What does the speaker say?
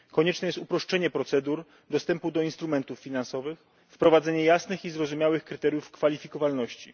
Konieczne jest uproszczenie procedur dostępu do instrumentów finansowych, wprowadzenie jasnych i zrozumiałych kryteriów kwalifikowalności.